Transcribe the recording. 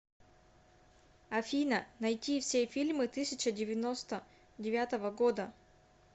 афина найти все фильмы тысяча девяносто девятого года